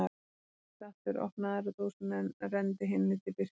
Hann settist aftur, opnaði aðra dósina en renndi hinni til Birkis.